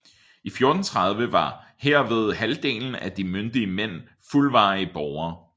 I 1430 var henved halvdelen af de myndige mænd fuldværdige borgere